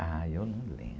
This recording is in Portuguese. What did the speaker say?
Ah, eu não lembro.